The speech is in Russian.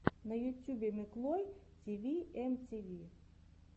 на ютьюбе миклой тиви эм ти ви